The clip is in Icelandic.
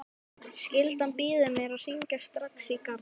Skyldan býður mér að hringja strax í Garðar.